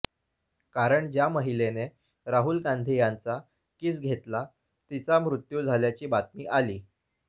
कारण ज्या महिलेने राहुल गांधी यांचा किस घेतला तिचा मृत्यू झाल्याची बातमी आली